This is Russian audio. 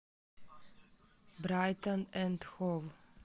брайтон энд хов